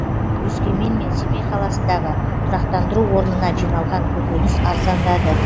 өскемен мен семей қаласындағы тұрақтандыру орнына жиналған көкөніс арзандады